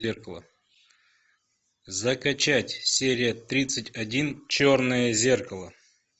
зеркало закачать серия тридцать один черное зеркало